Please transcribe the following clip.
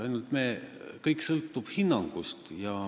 Ainult et kõik sõltub hinnangust.